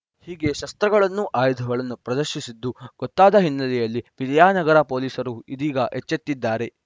ಹೀಗೆ ಶಸ್ತ್ರಗಳನ್ನು ಆಯುಧಗಳನ್ನು ಪ್ರದರ್ಶಿಸಿದ್ದು ಗೊತ್ತಾದ ಹಿನ್ನೆಲೆಯಲ್ಲಿ ವಿದ್ಯಾನಗರ ಪೊಲೀಸರೂ ಇದೀಗ ಎಚ್ಚೆತ್ತಿದ್ದಾರೆ